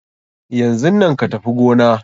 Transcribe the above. Yanzun nan ka Tafi gona!